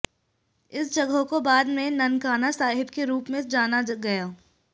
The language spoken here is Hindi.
इस जगह को बाद में ननकाना साहिब के रूप में जाना गया